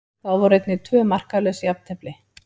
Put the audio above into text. Þá voru einnig tvö markalaus jafntefli.